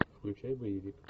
включай боевик